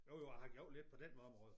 Jo jo jeg har gjort lidt på den område